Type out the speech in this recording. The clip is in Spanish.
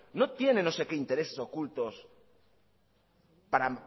no tienen no sé qué intereses ocultos para